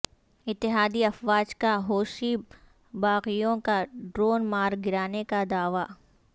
اتحادی افواج کا حوثی باغیوں کا ڈرون مار گرانے کا دعوی